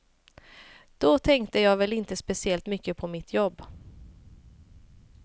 Då tänkte jag väl inte speciellt mycket på mitt jobb.